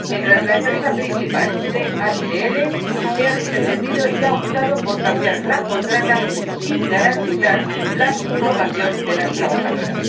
Mientras, la empresa principal —DHL— se ha desentendido y ha optado por cambiar la contrata sin garantizar la subrogación de las trabajadoras.